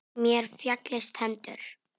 Mér féllust hendur.